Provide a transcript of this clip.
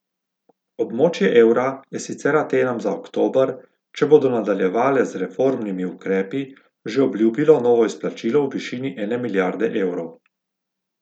Območje evra je sicer Atenam za oktober, če bodo nadaljevale z reformnimi ukrepi, že obljubilo novo izplačilo v višini ene milijarde evrov.